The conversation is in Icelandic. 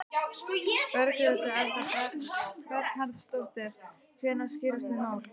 Berghildur Erla Bernharðsdóttir: Hvenær skýrast þau mál?